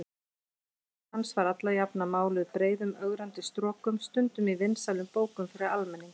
Gagnrýni hans var alla jafna máluð breiðum ögrandi strokum, stundum í vinsælum bókum fyrir almenning.